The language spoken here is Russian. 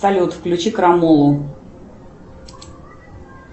салют включи крамолу